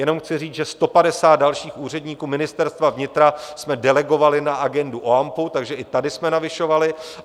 Jenom chci říct, že 150 dalších úředníků Ministerstva vnitra jsme delegovali na agendu OAMPů, takže i tady jsme navyšovali.